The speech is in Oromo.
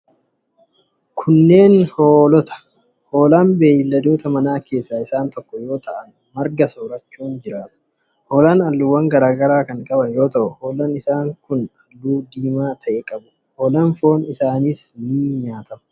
Kunneen ,hoolaa dha. Hoolaan beeyiladoota manaa keessaa isaan tokko yoo ta'an, marga soorachuun jiraatu. Hoolaan haalluuwwan garaa garaa kan qaban yoo ta'u, hoolaan isaan kun haalluu diimaa ta'e qabu. Hoolaan foon isaanii nyaataf ni oola.